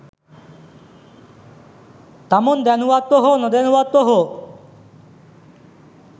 තමන් දැනුවත්ව හෝ නොදැනුවත්ව හෝ